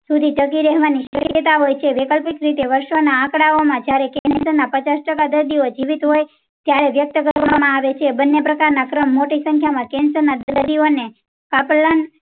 સુધી જાગી રેહવાની સંત હોય છે. વૈકલ્પિક રીતે વર્ષો ના આંકડાઓ માં jyare cancer ના પચાસ ટકા દર્દીઓ જીવિત હોય. ત્યારે વકયતા કરવામાં આવે છે બંને પ્રકાર ના ક્રમ મોટી સંખ્યા માં cancer ના દર્દીઓ ને